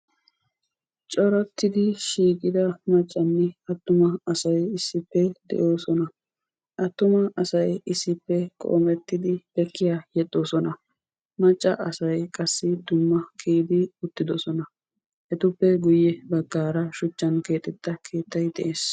coratodi shiiqida maccanne attuma asay issippe de'oosona; attuma asay issippe qoomettidi leekiya yexxoosona; macca asay qassi dumma kiyidi uttidoosona'; etuppe guyye baggara shuchchan keexxetta keettay de'ees.